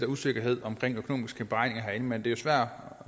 usikkerhed om økonomiske beregninger herinde men det er jo svært